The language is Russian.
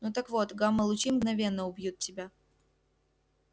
ну так вот гамма лучи мгновенно убьют тебя